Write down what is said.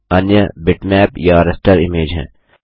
अन्य बिटमैप या raster image है